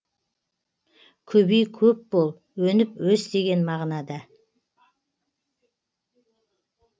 көбей көп бол өніп өс деген мағынада